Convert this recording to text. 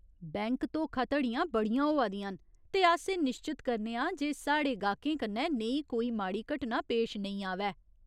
Bank धोखा धड़ियां बड़ियां होआ दियां न, ते अस एह् निश्चत करने आं जे साढ़े गाह्कें कन्नै नेही कोई माड़ी घटना पेश नेईं आवै।